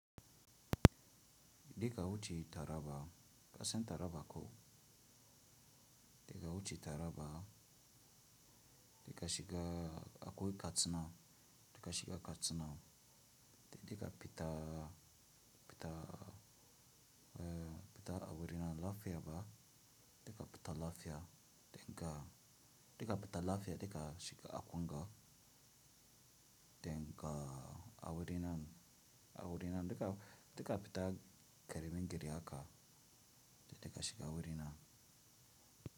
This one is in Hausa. Dika wuche taraba, kasan taraba ko, dika uchi taraba, dika shiga akwoi katsina, dika shiga katsina, te dika pita, pita, eh, pita awurinan lafiya ba, dika pita lafiya, dika, dika pita lafiya dika shiga akwonga, den ka awurinan, awurinan dika, dika pita ƙerimin giri haka te dika shiga awurinan.